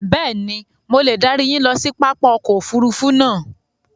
Bẹ́ẹ̀ni, mo le darí yín ló si pápá ọkọ̀ òfurufú náà